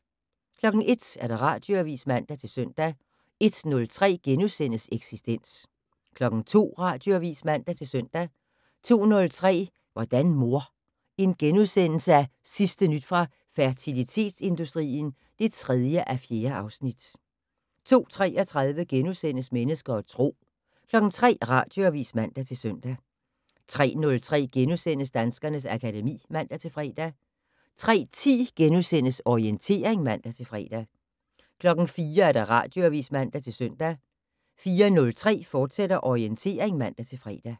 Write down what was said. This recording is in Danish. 01:00: Radioavis (man-søn) 01:03: Eksistens * 02:00: Radioavis (man-søn) 02:03: Hvordan mor? Sidste nyt fra fertilitetsindustrien (3:4)* 02:33: Mennesker og Tro * 03:00: Radioavis (man-søn) 03:03: Danskernes akademi *(man-fre) 03:10: Orientering *(man-fre) 04:00: Radioavis (man-søn) 04:03: Orientering, fortsat (man-fre)